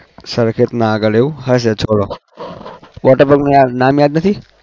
સરખેજના આગળ એવું હશે છોડો. water park યાર નામ યાદ નથી?